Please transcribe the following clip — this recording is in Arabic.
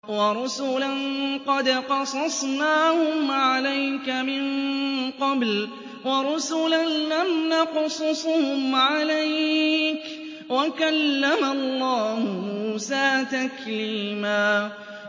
وَرُسُلًا قَدْ قَصَصْنَاهُمْ عَلَيْكَ مِن قَبْلُ وَرُسُلًا لَّمْ نَقْصُصْهُمْ عَلَيْكَ ۚ وَكَلَّمَ اللَّهُ مُوسَىٰ تَكْلِيمًا